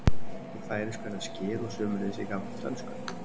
Í færeysku er það skyr og sömuleiðis í gamalli dönsku.